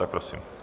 Tak prosím.